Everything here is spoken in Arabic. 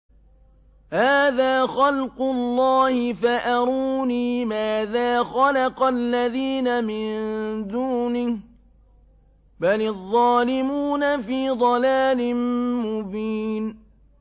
هَٰذَا خَلْقُ اللَّهِ فَأَرُونِي مَاذَا خَلَقَ الَّذِينَ مِن دُونِهِ ۚ بَلِ الظَّالِمُونَ فِي ضَلَالٍ مُّبِينٍ